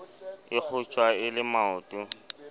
e kgotjwa e le maoto